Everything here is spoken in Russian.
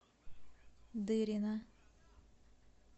дырина